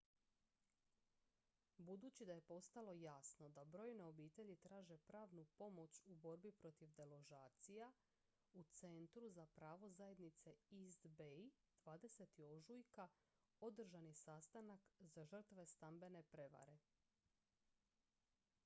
budući da je postalo jasno da brojne obitelji traže pravnu pomoć u borbi protiv deložacija u centru za pravo zajednice east bay 20. ožujka održan je sastanak za žrtve stambene prevare